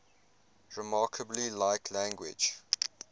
remarkably like language